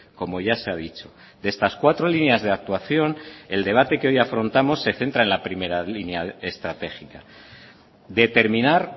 como ya se ha dicho de estas cuatro líneas de actuación el debate que hoy afrontamos se centra en la primera línea estratégica determinar